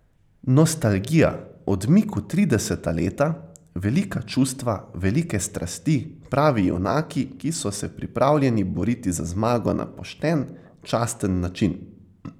Nostalgija, odmik v trideseta leta, velika čustva, velike strasti, pravi junaki, ki so se pripravljeni boriti za zmago na pošten, časten način ...